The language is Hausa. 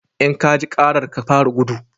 In ka ji karar, ka fara gudu!